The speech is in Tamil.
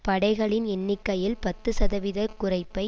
படைகளின் எண்ணிக்கையில் பத்து சதவீத குறைப்பை